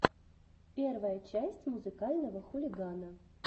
первая часть музыкального хулигана